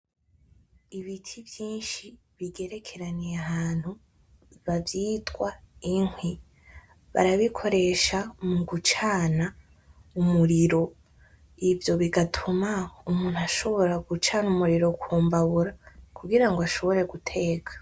Ibiti vyinshi bigerekeranye ahantu bavyitwa inkwi, barabikoresha mugucana umuriro ivyo bigatuma umuntu ashobora gucana umuriro k'umbabura kugira ngo ashobore guteka.